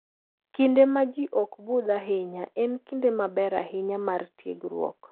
Kinde ma ji ok budh ahinya, en kinde maber ahinya mar tiegruok.